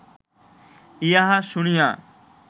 ইহা শুনিয়া